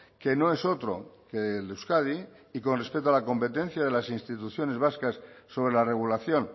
que no es otro que el de euskadi y con respecto a la competencia de las instituciones vascas sobre la regulación